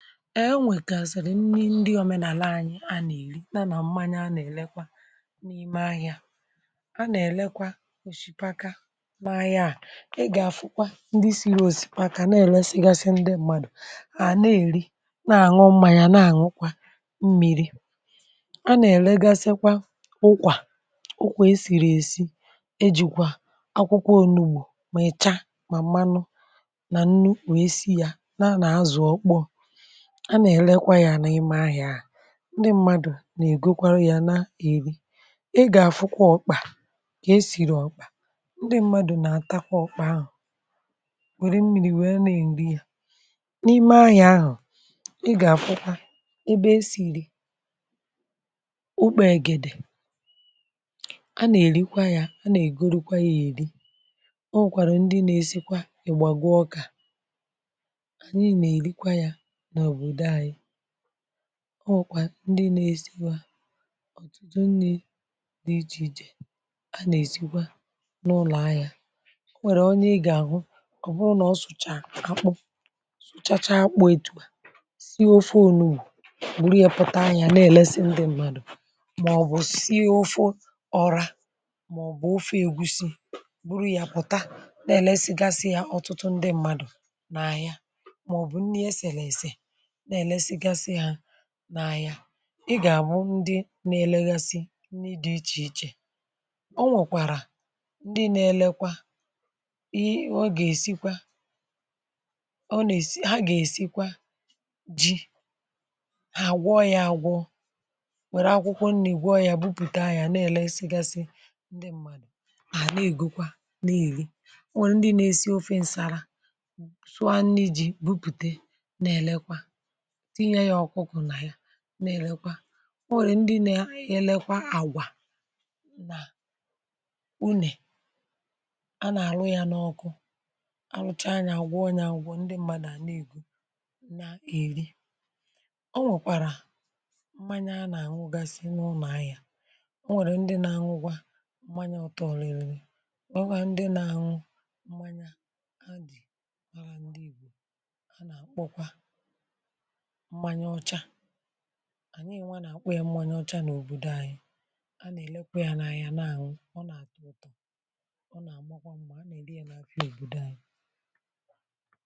e nwèkàzị̀rị̀ ndi òmenàla anyị̇, a nà-èri nà nà mmanye, a nà-èlekwa n’ime ahị̇ȧ. a nà-èlekwa òshìpaka n’ahịa, à i gà-àfụkwa ndi siri òshìpaka, na-ele sịgasị ndị mmadụ̀ à na-èri nà-àṅụ mmȧnyị̇. a na-àṅụkwa mmiri, a nà-èlegasịkwa ụkwà ụkwụ e siri èsi, e jìkwà akwụkwọ onu̇, bụ̀ mị̀cha mà mmanụ nà nnukwu, e si yȧ. na a nà-azụ̀ okpò, a nà-èlekwa yȧ n’ime ahị̇ȧ à, ndị mmadụ̀ nà-ègo kwara yȧ, na èri. ị gà-àfụkwa ọ̀kpà, kà esìrì ọ̀kpà, ndị mmadụ̀ nà-àtakwa ọkpà ahụ̀, wère mmiri̇, wee na-èri yȧ n’ime ahị̇ȧ ahụ̀. um ị gà-àfụkwa ebe esì ri ukpègèdè, a nà-èrikwa yȧ, a nà-ègoro kwaghị̇ èri. o wùkwàrà ndị nȧ-ėsikwa ègbàgoo ọkà, ọ nwèkwà ndi nà-esikwa ọ̀tụtụ nni̇, dị̇ ijì ijè, a nà-èsikwa n’ụlọ̀ anya. o nwèrè onye ị gà-àhụ kọ̀bụrụ, nà ọ sụ̀chaa akpụ, sụchacha akpụ̇, ètùpà sie ofe, ònewu gburu ya, pụ̀ta anya, na-èlesi ndị mmadụ̀, màọ̀bụ̀ sie ofụ, ọ̀ra, màọ̀bụ̀ ofe ègusi, gburu ya, pụ̀ta, na-èlesigasi ya. ọtụtụ ndị mmadụ̀ na-anya n’elėgasi hȧ n’anya, ị gà-àbụ ndị nȧ-elėgasi nni, dị̇ ichè ichè. o nwèkwàrà ndị nȧ-elekwa i, o gà-èsikwa, o nà-èsi ha, gà-èsikwa ji hà, gwọ ya àgwọ, wère akwụkwọ nni̇, gwọ ya, bupùte anya, nà-èle esi gasị, ndị mmàdụ̀ à nà-ègokwa nà-ègi. ọ nwèrè ndị nȧ-esi ofe ṅsara, sụa nni̇ ji̇, bupùte nà-èlekwa, tinye ya ọkụkụ nà ya, na-èlekwa. o nwèrè ndị nȧ-ėlėkwa àgwà nà unè, a nà-àlụ ya n’ọkụ. a lụchaa ya, àgwà onye àgwà, ndị mmadụ̀ àna-ègwu na-èri. ọ nwèkwàrà mmanya, a nà-àṅụ gasị n’ụnọ̀ ahịȧ. o nwèrè ndị nȧ-àṅụkwa mmanya, ọtọrị̀rị̀ ọwa, ndị nȧ-àṅụ mmanya a, dị̀ mara ndị ìgbò. a nà-àkpọkwa ànyị enwe, nà-àkpọ ya mmanya ọcha n’òbòdò anyị̇. a nà-èlekwa ya n’àhịa nà anwụ, ọ nà-àtọ ụtọ̀, ọ nà-àmọkwa mmȧ, a nà-èli ya n’abịa òbòdò anyị̇.